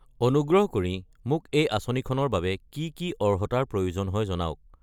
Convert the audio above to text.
অনুগ্ৰহ কৰি মোক এই আঁচনিখনৰ বাবে কি কি অৰ্হতাৰ প্ৰয়োজন হয় জনাওক।